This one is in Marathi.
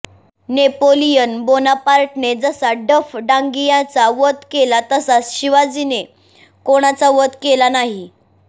नेपोलियन बोनापार्टने जसा डफ डांगियाचा वध केला तसा शिवाजीने कोणाचा वध केला नाही